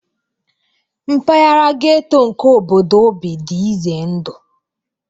Mpaghara ghetto nke obodo o bi dị ize ndụ